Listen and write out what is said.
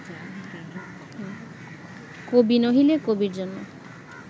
কবি নহিলে কবির জন্য